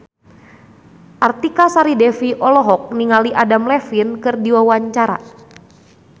Artika Sari Devi olohok ningali Adam Levine keur diwawancara